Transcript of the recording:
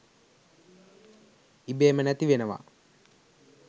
ඉබේම නැතිවෙනවා.